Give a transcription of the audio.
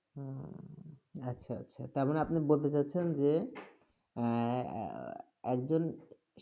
হুম, আচ্ছা আচ্ছা। তার মানে আপনি বলতে চাচ্ছেন যে, আহ এ- এ- একজন